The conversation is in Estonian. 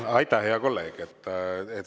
Aitäh, hea kolleeg!